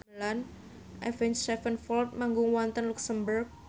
Avenged Sevenfold manggung wonten luxemburg